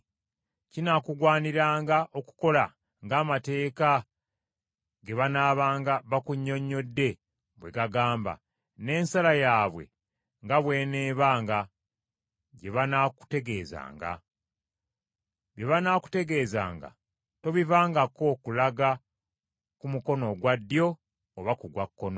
Kinaakugwaniranga okukola ng’amateeka ge banaabanga bakunnyonnyodde bwe gagamba, n’ensala yaabwe nga bw’eneebanga gye banaakutegeezanga. Bye banaakutegeezanga tobivangako kulaga ku mukono ogwa ddyo oba ku gwa kkono.